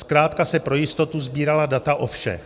Zkrátka se pro jistotu sbírala data o všech.